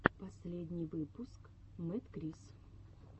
последний выпуск мэдкрис